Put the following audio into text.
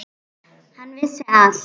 Hann vissi allt.